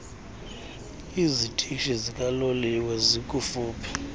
zitishi zikaloliwe zikufuphi